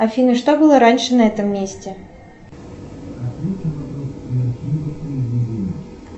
афина что было раньше на этом месте